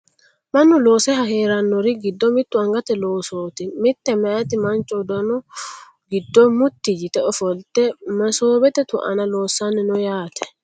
Mannu loose heerannori giddo mittu anigate loosoti mitte meeyati manicho uddunu giddo mutti yite offolitte mesobbete tuanna loosani noo yaate